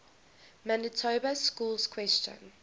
manitoba schools question